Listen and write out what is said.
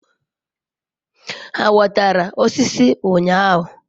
ha wetara osiso unyahu?